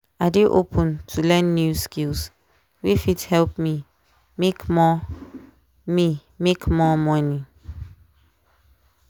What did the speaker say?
i dey open to learn new skills wey fit help me make more me make more money.